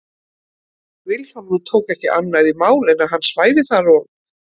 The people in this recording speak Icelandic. Vilhjálmur tók ekki annað í mál en að hann svæfi þar og